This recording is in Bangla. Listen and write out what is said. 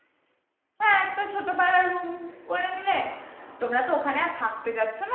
তোমরা তো ওখানে আর থাকতে যাচ্ছ না।